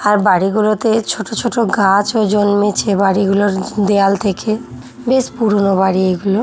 আর বাড়িগুলোতে ছোট ছোট গাছ ও জন্মেছে বাড়িগুলোর দেয়াল থেকে বেশ পুরনো বাড়ি গুলো।